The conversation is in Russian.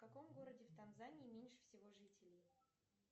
в каком городе в танзании меньше всего жителей